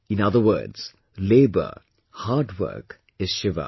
In other words, labour, hard work is Shiva